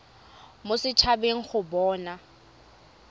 mo set habeng go bona